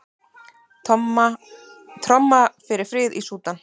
Tromma fyrir frið í Súdan